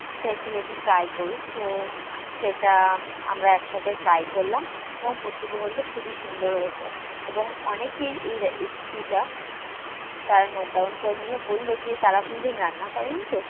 চাইছিলো যে try করুক তো সেটা আমরা একসাথে try করলাম এবং প্রত্যেকে বললো যে খুবই সুন্দর হয়েছে এবং অনেকেই এই recipe টা তারা note down করে নিলো। বললো যে তারা কোনোদিন রান্না করেনি তো